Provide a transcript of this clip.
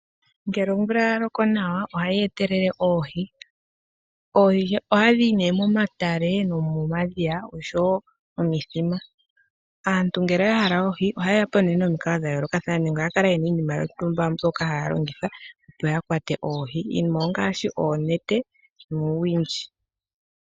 Ngele omvula yaloko nawa ohayi etele oohi, oohi ohadhi yi ne momatale nomomadhiya oshowo momithima, aantu ngele yahala oohi ohayeyapo nomikalo dhayoolokathana nenge ohakala yena iinima yontumba mbyoka hayalongitha opo ya kwate oohi, iinima ongaashi ne oonete nuuwindji.